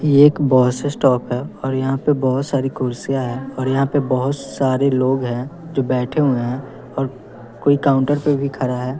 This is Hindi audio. ये एक बस स्टॉप है और यहाँ पे बहोत सारी कुर्सियाँ हैं और यहाँ पे बहोत सारे लोग हैं जो बैठे हुए है और कोई काउंटर पे भी खड़ा है।